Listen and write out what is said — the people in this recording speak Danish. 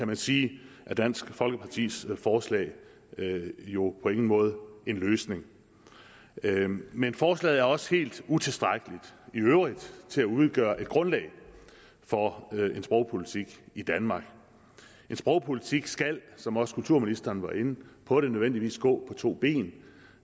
man sige er dansk folkepartis forslag jo på ingen måde en løsning men forslaget er også helt utilstrækkeligt i øvrigt til at udgøre et grundlag for en sprogpolitik i danmark en sprogpolitik skal som også kulturministeren var inde på nødvendigvis gå to ben